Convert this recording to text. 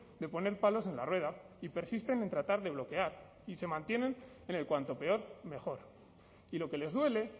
de poner palos en la rueda y persisten en tratar de bloquear y se mantienen en el cuanto peor mejor y lo que les duele